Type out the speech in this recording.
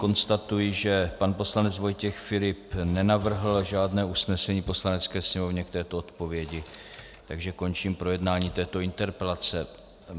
Konstatuji, že pan poslanec Vojtěch Filip nenavrhl žádné usnesení Poslanecké sněmovně k této odpovědi, takže končím projednání této interpelace.